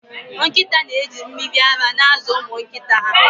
Nkịta na-eji mmiri ara na-azụ ụmụ nkịta ha